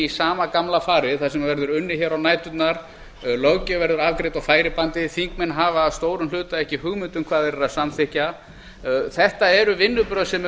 sama gamla farið þar sem verður unnið á næturnar löggjöf verður afgreidd á færibandi þingmenn hafa að stórum hluta ekki hugmynd um hvað þeir eru að samþykkja þetta eru vinnubrögð sem eru